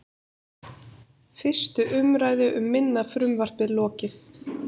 Fyrstu umræðu um minna frumvarpið lokið